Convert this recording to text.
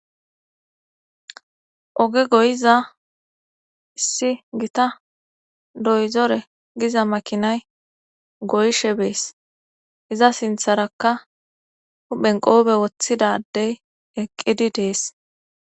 oge goyiza issi gita doyzore giza makinay goyshe bees iza sintharakka huphenqoobe woththidadey eqqidi dees